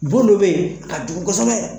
Bon dɔ bɛ yen a ka jugu kosɛbɛ,